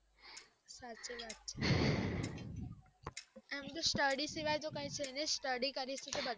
સાચી વાત છે એમ તો study સિવાય કૈક છે ની, study કરીએ છીએ તો બધું છે